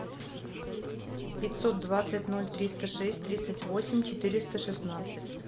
пятьсот двадцать ноль триста шесть тридцать восемь четыреста шестнадцать